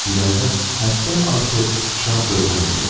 İrəlidə həddən artıq şad görkəmdə gedirdim.